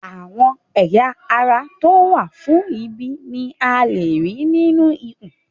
Àwọn ẹ̀yà ara to wa fún ìbí ni a léè rí nínú ikùn